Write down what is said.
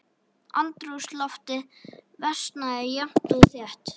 Andrúmsloftið versnaði jafnt og þétt.